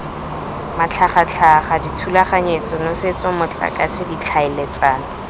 matlhagatlhaga dithulaganyetso nosetso motlakase ditlhaeletsano